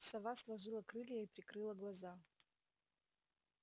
сова сложила крылья и прикрыла глаза